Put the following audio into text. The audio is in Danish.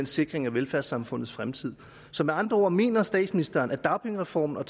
sikringen af velfærdssamfundets fremtid så med andre ord mener statsministeren at dagpengereformen og